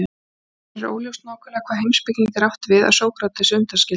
Nú er óljóst nákvæmlega hvaða heimspekinga er átt við að Sókratesi undanskildum.